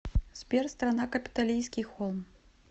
сбер страна капитолийский холм